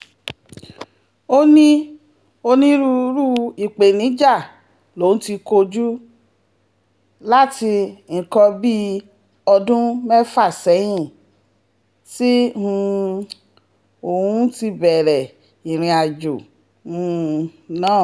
ó ní onírúurú ìpèníjà lòun ti kojú láti nǹkan bíi bíi ọdún mẹ́fà sẹ́yìn tí um òun ti bẹ̀rẹ̀ ìrìnàjò um náà